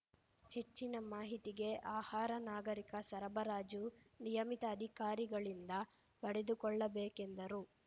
ಹೆಚ್ಚಿನ ಮಾಹಿತಿಗೆ ಆಹಾರ ನಾಗರಿಕ ಸರಬರಾಜು ನಿಯಮಿತ ಅಧಿಕಾರಿಗಳಿಂದ ಪಡೆದುಕೊಳ್ಳಬೇಕೆಂದರು